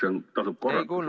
Kas üldse tasub korrata?